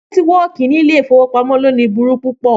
Nẹtiwọọki ni ile-ifowopamọ loni buru pu pọ.